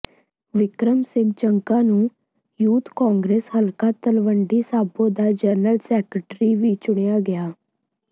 ਬਿੱਕਰ ਸਿੰਘ ਜਗਾ ਨੂੰ youth Congress ਹਲਕਾ ਤਲਵੰਡੀ ਸਾਬੋ ਦਾ ਜਨਰਲ ਸੈਕਟਰੀ ਵੀ ਚੁਣਿਆ ਗਿਆ